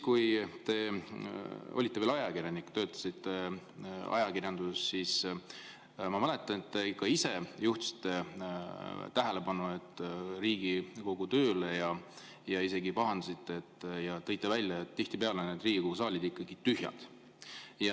Kui te olite veel ajakirjanik, töötasite ajakirjanduses, siis ma mäletan, et te ka ise juhtisite tähelepanu Riigikogu tööle, tõite välja ja isegi pahandasite, et tihtipeale on see Riigikogu saal tühi.